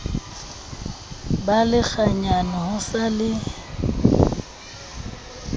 ba lekganyane ho sa le